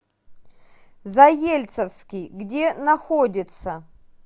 заельцовский где находится